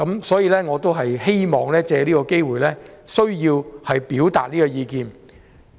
所以，我希望藉此機會表達這意見。